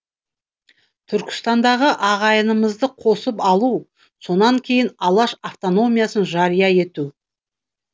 түркістандағы ағайынымызды қосып алу сонан кейін алаш автономиясын жария ету